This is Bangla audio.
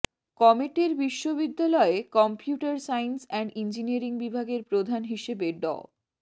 কমেটের বিশ্ববিদ্যালয়ে কম্পিউটার সায়েন্স অ্যান্ড ইঞ্জিনিয়ারিং বিভাগের প্রধান হিসেবে ড